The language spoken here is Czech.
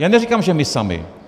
Já neříkám, že my sami.